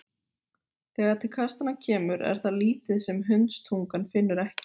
Þegar til kastanna kemur er það lítið sem hundstungan finnur ekki.